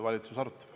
Helmen Kütt, palun!